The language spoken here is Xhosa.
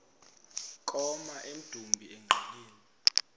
koma emdumbi engqeleni